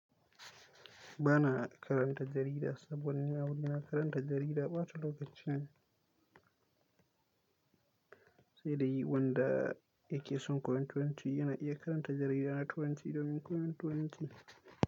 Ba na karanta jarida saboda ni a wurina karanta jarida bata lokaci ne, sai dai wanda yake son koyon turanci yana iya karanta jarida na turanci domin koyon turanci.